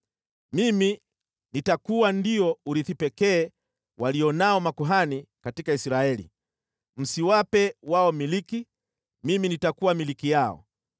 “ ‘Mimi nitakuwa ndio urithi pekee walio nao makuhani katika Israeli. Msiwape wao milki, mimi nitakuwa milki yao.